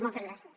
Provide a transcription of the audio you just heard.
moltes gràcies